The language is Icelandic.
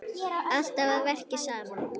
Alltaf að verki saman.